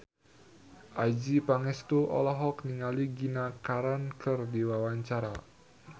Adjie Pangestu olohok ningali Gina Carano keur diwawancara